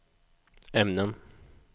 ämnen